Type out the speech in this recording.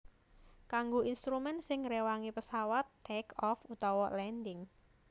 Kanggo instrumen sing ngréwangi pesawat take off utawa landing